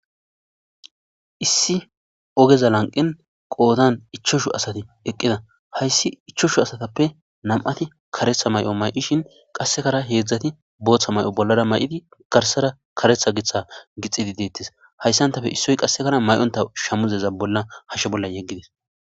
issi ogeza lanqin qoodan ichoshu asati eqqida hayssi ichoshu asatappe nam7ati karetha may7o may7ishin qassekara heedzdzati booththa may7o bollara may7idi garsara karetha giththa gixidi deettes hayssantafe issoy qassekara may7onta shamuzeza bolla hashe bolla yeggidis